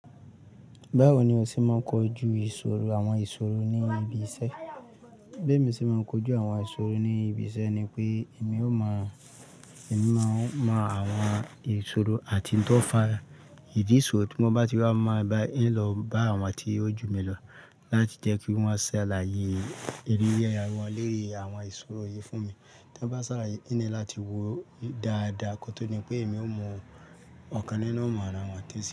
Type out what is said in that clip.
Báwo ni o ṣe máa ń kojú ìṣòro àwọn ìṣòro ní ibi iṣẹ́? Bí èmi ṣe máa ń kojú àwọn ìṣòro ní ibi iṣẹ́ ni pé èmi ó máa, èmi máa mọ àwọn ìṣòro àti n tó fà ìdí ìṣòro tí wọ́n bá ti wá máa bá yii, ín lọ bá àwọn tí ó jù mí lọ láti jẹ́ kí wọ́n ṣàlàyé eré yẹ́ra wọn lórí àwọn ìṣòro yii fún mi tí wọ́n bá ṣàlàyé yín ni láti wo dáadáa kó tó ní pé èmi ó mọ ọ̀kan nínú ọ̀ọ̀rọ̀ àwọn tẹ́lẹ̀.